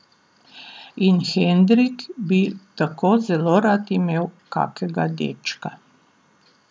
In Henrik bi tako zelo rad imel kakega dečka.